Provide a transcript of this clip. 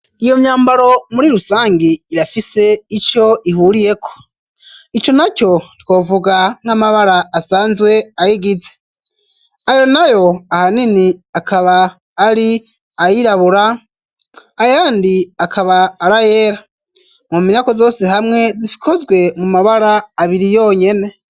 Iyo myambaro muri rusangi irafise ico ihuriyeko ,ico na co twovuga nk'amabara asanzwe ayigize ayo nayo ahanini akaba ari ayirabura, ayandi akaba arayera ,mu menyako zose hamwe zikozwe mu mabara abiri yonyene.